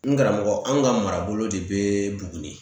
N karamɔgɔ anw ka marabolo de bɛ Buguni